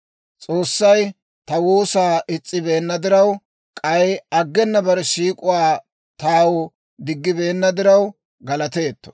S'oossay ta woosaa is's'ibeenna diraw, k'ay aggena bare siik'uwaa taw diggibeenna diraw, galateetto.